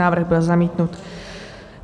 Návrh byl zamítnut.